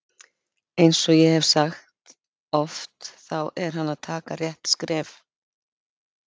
Eins og ég hef sagt oft þá er hann að taka rétt skref.